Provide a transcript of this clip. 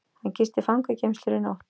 Hann gisti fangageymslur í nótt